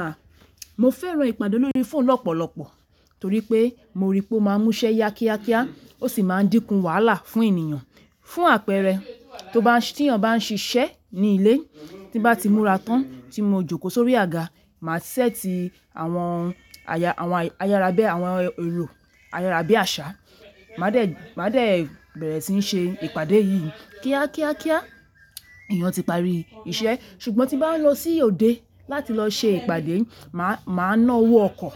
À, mo fẹ́ran ìpàdé lórí fóònù lọ́pọ̀lọpọ̀ torí pé mo ríi pé ó máa múṣẹ́ yá kíákíá, ó sì máa dínkù wàhálà fún ènìyàn. Fún àpẹẹrẹ, tí èèyàn bá ń ṣíṣe ní ilé, tí n bá ti múra tán, tí mo jókòó sórí àga, màá set awọn àwọn elo ayárabíàṣá, màá dẹ̀ bẹ̀rẹ̀ síí ṣe ìpàdé yìí kíákíá kíá, èèyàn ti parí iṣẹ́. Ṣùgbọ́n tí n bá lọ sí òde láti lọ ṣe ìpàdé, màá ná owó ọkọ̀,